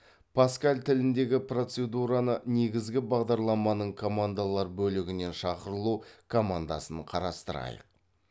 паскаль тіліндегі процедураны негізгі бағдарламаның командалар бөлігінен шақырылу командасын қарастырайық